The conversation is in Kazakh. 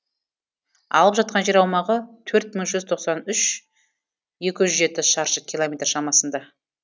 алып жатқан жер аумағы төрт мың жүз тоқсан үш екі жүз жеті шаршы километр шамасында